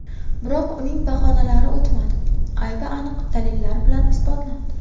Biroq uning bahonalari o‘tmadi, aybi aniq dalillar bilan isbotlandi.